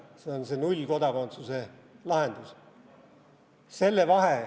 See on nullkodakondsuse lahendus.